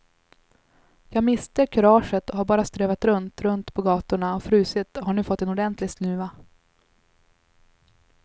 Jag miste kuraget och har bara strövat runt, runt på gatorna och frusit och har nu fått en ordentlig snuva.